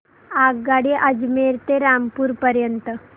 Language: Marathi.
आगगाडी अजमेर ते रामपूर पर्यंत